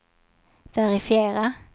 verifiera